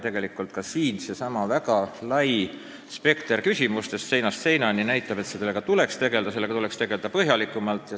Küsimuste väga lai spekter, küsimuste ulatumine seinast seinani näitab, et sellega tuleks tegelda põhjalikumalt.